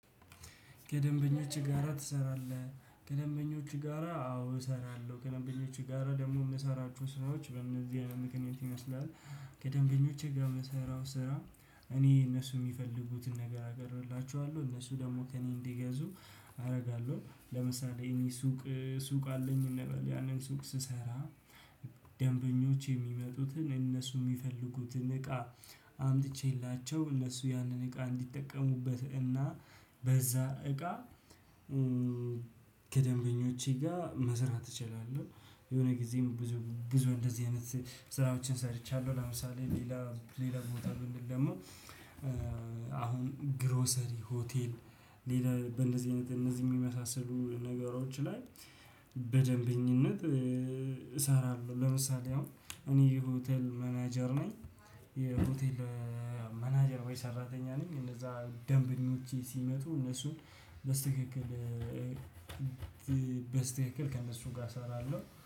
"ከደንበኞች ጋራ ትሰራለህ?" ከደንበኞች ጋራ አዎ እሰራለሁ። ከደንበኞች ጋራ ደግሞ የምሰራቸው ስራዎች በእነዚህ አይነት ምክንያት ይመስላል። ከደንበኞቼ ጋር የምሰራው ስራ እኔ እነሱ የሚፈልጉትን ነገር አቀርብላቸዋለሁ፤ እነሱ ደግሞ ከእኔ እንዲገዙ አደርጋለሁ። ለምሳሌ እኔ ሱቅ ሱቅ አለኝ እንበል ያንን ሱቅ ስሰራ ደንበኞች የሚመጡትን እነሱ የሚፈልጉትን እቃ አምጥቼላቸው እነሱ ያንን እቃ እንዲጠቀሙበት እና በዛ እቃ ከደንበኞቼ ጋር መስራት እችላለሁ። የሆነ ጊዜም ብዙ ብዙ እንደዚህ አይነት ስራዎችን ሰርቻለሁ። ለምሳሌ ሌላ ሌላ ቦታ ብንል ደግሞ አሁን ግሮሰሪ ሆቴል ሌላ በእንደዚህ አይነት እነዚህ የሚመሳሰሉ ነገሮች ላይ በደንበኝነት እሰራለሁ። ለምሳሌ አሁን እኔ ሆቴል ማናጀር ነኝ የሆቴል ማናጀር ወይ ሰራተኛ ነኝ እነዛ ደንበኞቼ ሲመጡ እነሱን በስትክክል በስትክክል ከእነሱ ጋር እሰራለሁ።